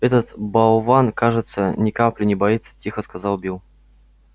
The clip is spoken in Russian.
этот болван кажется ни капли не боится тихо сказал билл